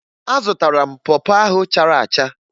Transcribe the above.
Azụtara m pọ pọ ahụ chara acha